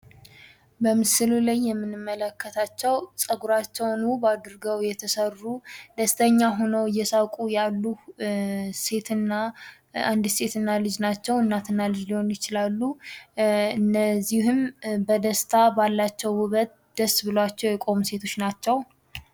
በምስሉ ላይ የምንመለከታቸው ጸጉራቸውን ውብ አድርገው የተሰሩ እናትና ልጅ ናቸው ፤ እነዚህም ባላቸው ውበት ደስ ብሏቸው የቆሙ ሰዎች ናቸው ።